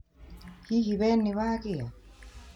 Hihi wee nĩ wagĩa?